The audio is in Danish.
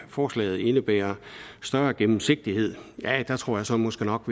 forslaget indebærer større gennemsigtighed der tror jeg så måske nok